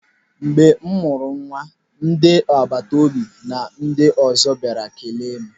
Mgbe m mụrụ nwa ndị agbata obi na ndị ọzọ bịara kelee m.